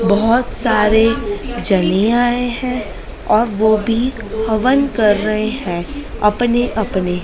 बहुत सारे चले आए हैं और वो भी हवन कर रहे हैं अपने अपने--